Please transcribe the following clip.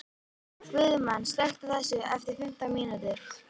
Guðmann, slökktu á þessu eftir fimmtán mínútur.